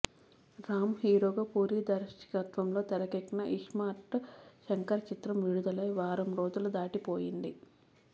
రామ్ హీరోగా పూరి దర్శకత్వంలో తెరకెక్కిన ఇస్మార్ట్ శంకర్ చిత్రం విడుదలై వారం రోజులు దాటి పోయింది